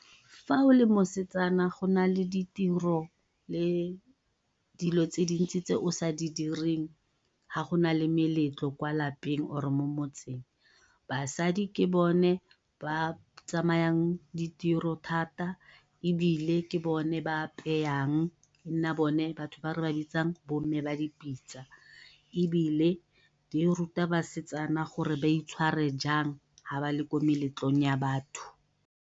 Fa o le mosetsana go nale ditiro le dilo tse dintsi tse o sa di direng ha go na le meletlo kwa lapeng or-e mo motseng. Basadi ke bone ba tsamayang ditiro thata ebile ke bone ba e nna bone batho ba re ba bitsang bo mme ba dipitsa ebile di ruta basetsana gore ba itshware jang ha ba le mo meletlong ya batho.